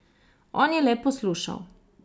On je le poslušal.